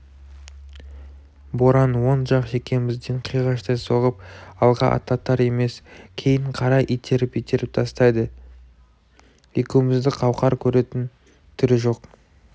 боран оң жақ шекемізден қиғаштай соғып алға аттатар емес кейін қарай итеріп-итеріп тастайды екеумізді қауқар көретін түрі жоқ